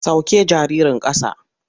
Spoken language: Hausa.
Sauke jaririn ƙasa.